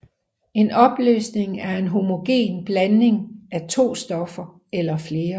En opløsning er en homogen blanding af to eller flere stoffer